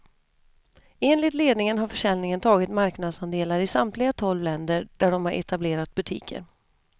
Enligt ledningen har försäljningen tagit marknadsandelar i samtliga tolv länder där de har etablerat butiker.